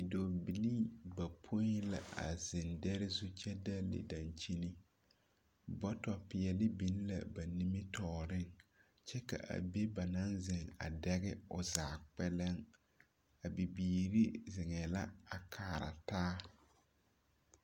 Dɔɔbilii bapõi la zeŋ dɛre zu kyɛ dɛle daŋkyini. Bɔtɔ peɛle biŋ la ba nimitɔɔreŋ. kyɛ ka be ba naŋ zeŋ a dɛge o zaa kpɛlɛŋ. A bibiiri zeŋɛɛ la a kaara taa.